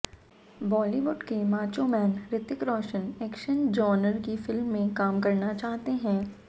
बॉलीवुड के macho man Hrithik Roshan action genre की film में काम करना चाहते हैं